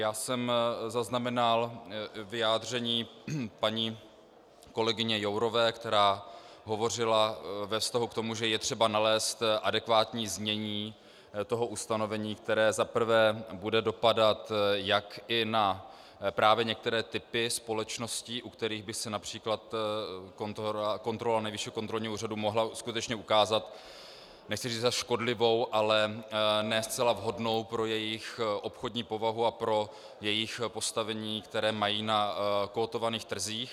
Já jsem zaznamenal vyjádření paní kolegyně Jourové, která hovořila ve vztahu k tomu, že je třeba nalézt adekvátní znění toho ustanovení, které za prvé bude dopadat jak i na právě některé typy společností, u kterých by se například kontrola Nejvyššího kontrolního úřadu mohla skutečně ukázat, nechci říci za škodlivou, ale ne zcela vhodnou pro jejich obchodní povahu a pro jejich postavení, které mají na kotovaných trzích.